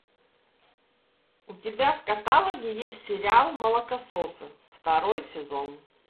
у тебя в каталоге есть сериал молокососы второй сезон